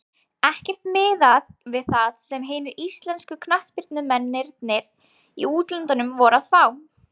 Ekkert miðað við það sem hinir íslensku knattspyrnumennirnir í útlöndum voru að fá.